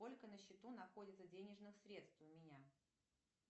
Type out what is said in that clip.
сколько на счету находится денежных средств у меня